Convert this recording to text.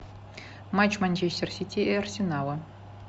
матч манчестер сити и арсенала